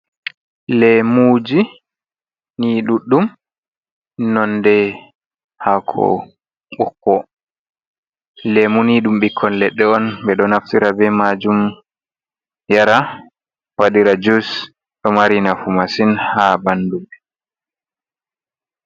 Lemuji ni ɗuɗɗum, nonde hako ɓokko. Lemu ni ɗum ɓikkon leɗɗe on ɓe ɗo naftira be majum yara, waɗira jus. Ɗo mari nafu masin ha ɓandu.